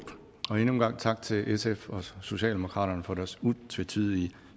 endnu en gang tak til sf og socialdemokratiet for deres utvetydige